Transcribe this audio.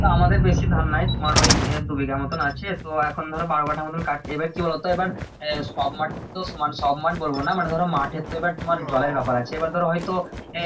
তা আমাদের বেশি ধান নাই ওই দু বিঘা মতোন আছে তো এখন বারো কাথা মতো কাট এবার কি বোলো তো এবার এই সব মাঠ সব মাঠ তো সমান না সব মাঠ বলবো না মানে ধরো মাঠে তো এবার জল এর ব্যাপার আছে এবার ধরো হয়তো